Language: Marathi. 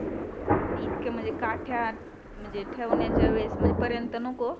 इतकं म्हणजे काट्यात ठेवण्याच्या वेळेस पर्यंत नको